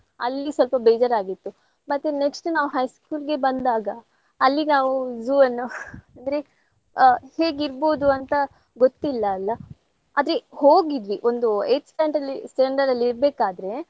ಅಲ್ಲಿ ಸ್ವಲ್ಪ ಬೇಜಾರಾಗಿತ್ತು. ಮತ್ತ್ next ನಾವ್ high school ಇಗೆ ಬಂದಾಗ ಅಲ್ಲಿ ನಾವು zoo ಅನ್ನು ಅಂದ್ರೆ ಆ ಹೇಗಿರ್ಬಹುದು ಅಂತ ಗೊತ್ತಿಲ್ಲಾ ಅಲ್ಲಾ. ಆದ್ರೆ ಹೋಗಿದ್ವಿ ಒಂದು eighth standard ಅಲ್ಲಿ standard ಅಲ್ಲಿ ಇರ್ಬೆಕಾದ್ರೆ.